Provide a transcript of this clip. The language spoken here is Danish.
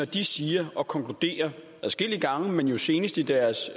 de siger og konkluderer adskillige gange men jo senest i deres